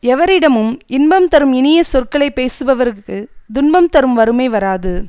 எவரிடமும் இன்பம் தரும் இனிய சொற்களை பேசுபவர்க்குத் துன்பம் தரும் வறுமை வராது